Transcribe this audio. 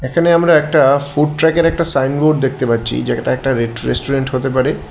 এখানে আমরা একটা ফুড ট্র্যাকের একটা সাইনবোর্ড দেখতে পাচ্ছি যেটা একটা রেট্রো রেস্টুরেন্ট হতে পারে।